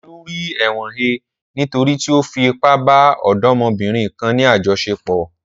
Olú rí ẹ̀wọ̀n he nítorí tí ó fi ipá bá ọ̀dọ́mọbìnrin kan ní àjọṣepọ̀.